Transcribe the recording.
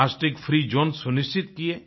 plastic free zone सुनिश्चित किये